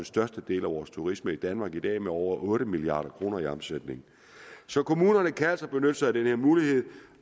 største del af vores turisme i danmark i dag med over otte milliard kroner i omsætning så kommunerne kan altså benytte sig af den her mulighed